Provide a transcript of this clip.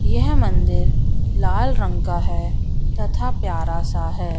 यह मंदिर लाल रंग का है तथा प्यारा सा है।